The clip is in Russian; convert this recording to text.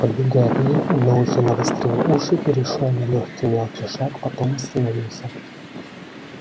подбегая к ней одноухий навострил уши перешёл на лёгкий мелкий шаг потом остановился